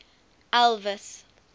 elvis